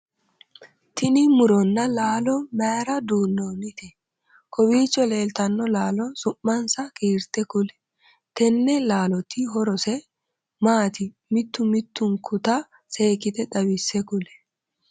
Tinni muronna laallo mayira duunoonni? Kowiicho leeltano laalo su'mansa kiirte kuli? Tenne laalloti horose maati mittu mittunkuta seekite xawise kuli?